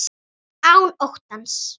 Án óttans.